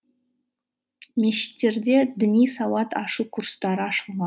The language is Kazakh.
мешіттерде діни сауат ашу курстары